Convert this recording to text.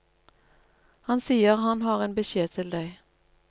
Han sier han har en beskjed til deg.